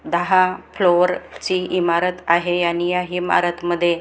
दहा फ्लोअर ची इमारत आहे आणि या इमारत मध्ये--